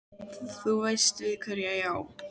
Þú veist við hverja ég á.